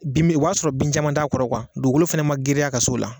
Bin min,o b'a sɔrɔ bin caman t'a kɔrɔ , dugukolo fana ma girinya ka s'o la.